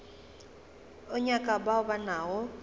o nyaka bao ba nago